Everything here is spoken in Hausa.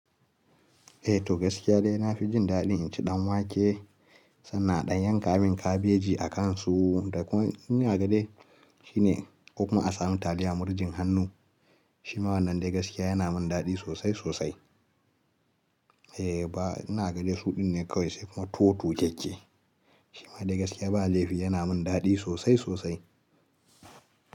Eh, to gaskiya dai na fi jin daɗin inci ɗan wake sannan a ɗan yanka min kabeji a kansu. Da kun ina ga dai shine ko kuma a samu taliya murjin hannu. Shima wannan dai gaskiya yana min daɗi sosai sosai. Eh ba ina ga dai su ɗinne kawai sai kuma tuwo tu kekke. Shima dai gaskiya ba laifi yana min daɗi sosai sosai.